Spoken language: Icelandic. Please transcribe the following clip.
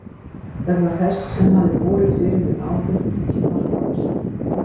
Vegna þess sem hafði borið fyrir mig áður tók ég mark á þessu.